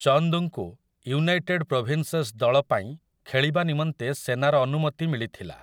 ଚନ୍ଦ୍‌ଙ୍କୁ United Provinces ଦଳପାଇଁ ଖେଳିବା ନିମନ୍ତେ ସେନାର ଅନୁମତି ମିଳିଥିଲା ।